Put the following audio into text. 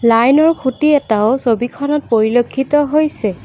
Line ৰ খুঁটি এটাও ছবিখনত পৰিলক্ষিত হৈছে।